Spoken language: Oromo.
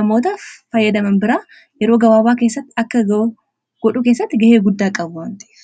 namoota fayyadaman biraa yeroo gabaabaa keessatti akka godhu keessatti ga'ee guddaa qabuamti